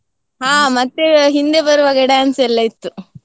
ಹಾ ಮತ್ತೆ ಹಿಂದೆ ಬರುವಾಗ dance ಎಲ್ಲ ಇತ್ತು.